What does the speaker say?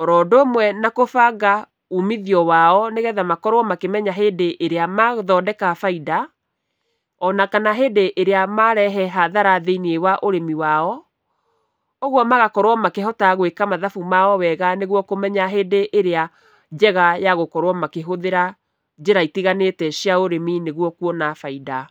oro ũndũ ũmwe na kũbanga umithio wao nĩgetha makorwo makĩmenya hĩndĩ ĩrĩa mathondeka baida, ona kana hĩndĩ ĩrĩa marehe hathara thĩiniĩ wa ũrĩmi wao. Ũguo magakorwo makĩhota gwĩka mathabu mao wega nĩguo kũmenya hĩndĩ ĩrĩa njega ya gũkorwo makĩhũthĩra njĩra itiganĩte cia ũrĩmi nĩguo kuona baida.